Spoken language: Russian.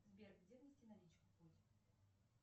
сбер где внести наличку